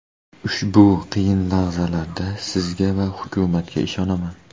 Ushbu qiyin lahzalarda sizga va hukumatga ishonaman”.